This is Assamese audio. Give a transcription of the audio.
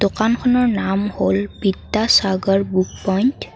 দোকানখনৰ নাম হ'ল বিদ্যা চাগৰ বুক প'ইন্ট ।